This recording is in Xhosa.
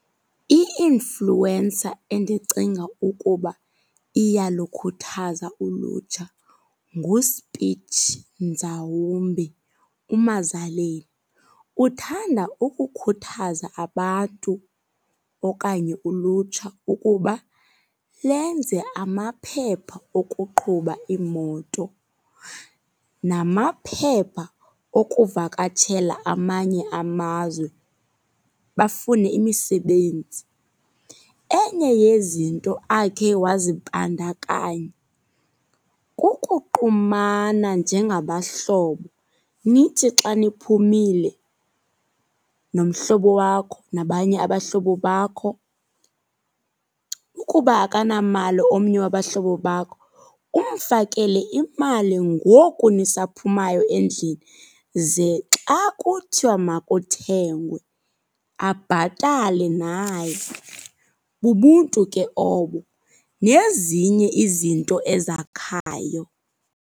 I-influencer endicinga ukuba iyalukhuthaza ulutsha nguSpitch Nzawumbi uMazaleni. Uthanda ukukhuthaza abantu okanye ulutsha ukuba lenze amaphepha okuqhuba iimoto namaphepha okuvakatshela amanye amazwe bafune imisebenzi. Enye yezinto akhe wazibandakanya kukuqumana njengabahlobo. Nithi xa niphumile nomhlobo wakho nabanye abahlobo bakho, ukuba akanamali omnye wabahlobo bakho umfakele imali ngoku nisaphumayo endlini ze xa kuthiwa makuthengwe abhatale naye. Bubuntu ke obo nezinye izinto ezakhayo.